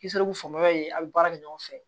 Kisɛ ko fanga ye a bi baara kɛ ɲɔgɔn fɛ